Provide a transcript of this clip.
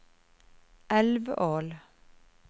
Elvål